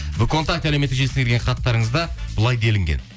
әлеуметтік желісіне келген хаттарыңызда былай делінген